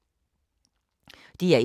DR1